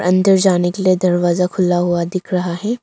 अंदर जाने के लिए दरवाजा खुला हुआ दिख रहा है।